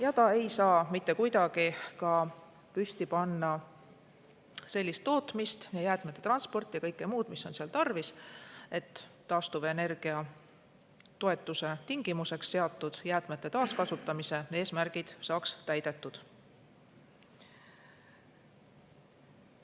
Ja ta ei saa mitte kuidagi ka püsti panna sellist tootmist ja jäätmete transporti ja kõike muud, mis on tarvis, et taastuvenergia toetuse tingimuseks seatud jäätmete taaskasutamise eesmärgid saaks täidetud.